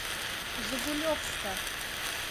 жигулевска